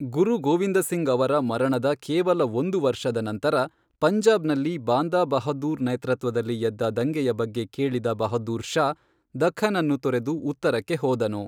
ಗುರು ಗೋವಿಂದ ಸಿಂಗ್ ಅವರ ಮರಣದ ಕೇವಲ ಒಂದು ವರ್ಷದ ನಂತರ, ಪಂಜಾಬ್ ನಲ್ಲಿ ಬಾಂದಾ ಬಹದ್ದೂರ್ ನೇತೃತ್ವದಲ್ಲಿ ಎದ್ದ ದಂಗೆಯ ಬಗ್ಗೆ ಕೇಳಿದ ಬಹದ್ದೂರ್ ಷಾ, ದಖ್ಖನನ್ನು ತೊರೆದು ಉತ್ತರಕ್ಕೆ ಹೋದನು.